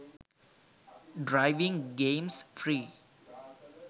driving games free